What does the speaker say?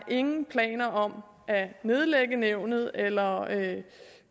ingen planer om at nedlægge nævnet eller